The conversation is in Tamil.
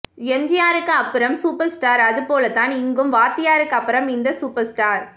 எம்ஜியாருக்கு அப்புறம் சூப்பர் ஸ்டார் அது போலதான் இங்கும் வாத்தியாருக்கு அப்புறம் இந்த சூப்பர் ஸ்டார்